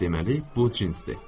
Deməli, bu cinsdir.